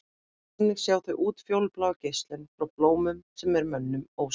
þannig sjá þau útfjólubláa geislun frá blómum sem er mönnum ósýnileg